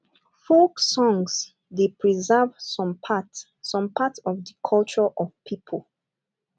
folk songs dey preserve some part some part of di culture of pipo